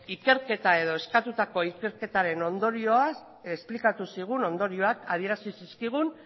ikerketa edo eskatutako ikerketaren ondorioak esplikatu zigun adierazi zizkigun